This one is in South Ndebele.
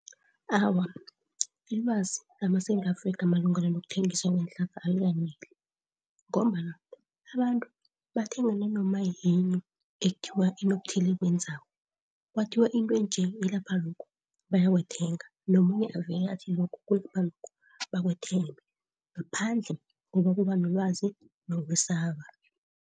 Awa, ilwazi lamaSewula Afrika malungana nokuthengiswa kweenhlahla alikaneli ngombana abantu bathenga nanomayini ekuthiwa inokuthile ekwenzako. Kwathiwa intwe nje ilapha lokhu bayawathenga nomunye avele athi lokho kulapha lokho bakwethenge ngaphandle kokubanelwazi nokwesaba.